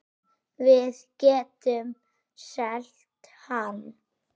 Við getum selt hann.